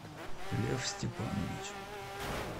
лев степанович